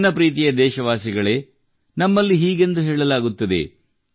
ನನ್ನ ಪ್ರೀತಿಯ ದೇಶವಾಸಿಗಳೇ ನಮ್ಮಲ್ಲಿ ಹೀಗೆಂದು ಹೇಳಲಾಗುತ್ತದೆ